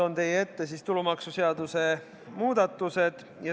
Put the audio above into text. Toon teie ette tulumaksuseaduse muudatused.